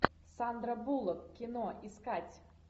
сандра буллок кино искать